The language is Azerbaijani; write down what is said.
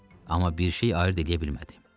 Amma bir şey ayırd eləyə bilmədi.